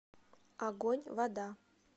огоньвода